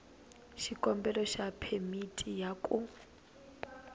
xikombelo xa phemiti ya ku